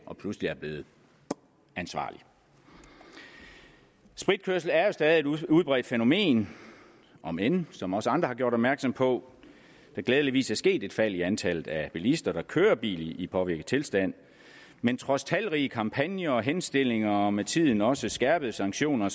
og pludselig er blevet ansvarlig spritkørsel er jo stadig et udbredt fænomen om end som også andre har gjort opmærksom på glædeligvis er sket et fald i antallet af bilister der kører bil i påvirket tilstand men trods talrige kampagner henstillinger og med tiden også skærpede sanktioner